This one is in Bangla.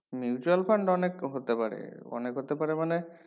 mutual fund অনেক হতে পারে অনেক হতে পারে মানে